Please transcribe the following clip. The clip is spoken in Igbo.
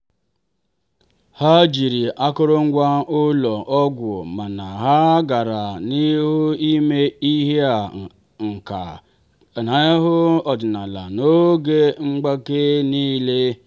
ha jiri akụrụngwa ụlọ ọgwụ mana ha gara n'ihu ime ịhịa aka n'ahụ ọdịnala n'oge mgbake niile.